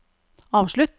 avslutt